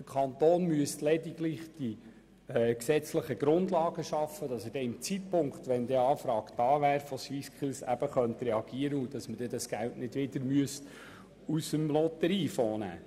Der Kanton muss lediglich die gesetzlichen Grundlagen dafür schaffen, dass er zum Zeitpunkt einer Anfrage der SwissSkills reagieren könnte und dieses Geld nicht dem Lotteriefonds entnommen werden müsste.